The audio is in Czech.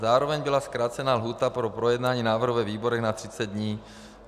Zároveň byla zkrácena lhůta pro projednání návrhu ve výborech na 30 dní.